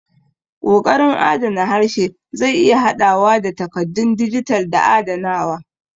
Ƙoƙarin adana harshe zai iya haɗawa da takaddun dijital da adanawa.